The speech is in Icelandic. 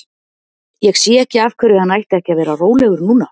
Ég sé ekki af hverju hann ætti ekki að vera rólegur núna?